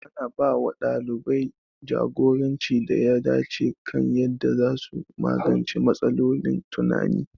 Ana ba wa ɗalibai jagoranci da ya dace kan yadda za su magance matsalolin tunani.